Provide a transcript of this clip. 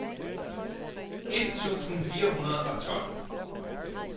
et tusind fire hundrede og tolv